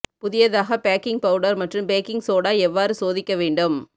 புதியதாக baking powder மற்றும் baking soda எவ்வாறு சோதிக்க வேண்டும்